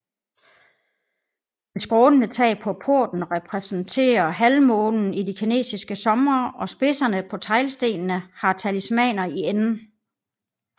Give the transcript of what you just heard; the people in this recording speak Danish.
Det skrånende tag på porten repræsenterer halvmånen i de kinesiske somre og spidserne på teglstenene har talismaner i enden